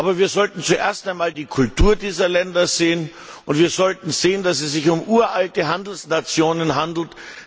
Aber wir sollten zuerst einmal die Kultur dieser Länder sehen, und wir sollten sehen, dass es sich um uralte Handelsnationen handelt.